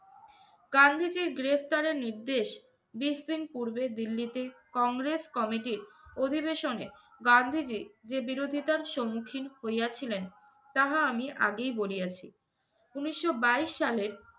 গান্ধীজীর গ্রেফতারের নির্দেশ বিশ দিন পূর্বে দিল্লিতে, কংগ্রেস committee র অধিবেশনে গান্ধীজী যে বিরোধিতার স্মুখীন হইয়াছিলেন তাহা আমি আগেই বলিয়াছি। উনিশশো বাইশ সালের